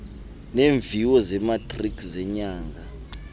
neemviwo zematriki zenyanga